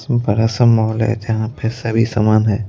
बड़ा सा मोहल है जहां पे सभी समान है।